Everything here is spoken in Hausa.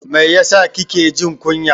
Mai yasa kike jin kunya?